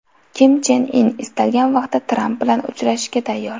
Kim Chen In istalgan vaqtda Tramp bilan uchrashishga tayyor.